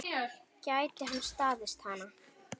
Gæti hann staðist hana?